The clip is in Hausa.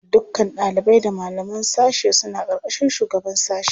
Dukkan ɗalibai da malaman sashe suna ƙarƙashin shugaban sashe.